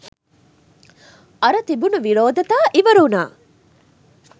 අර තිබුණු විරෝධතා ඉවර වුණා.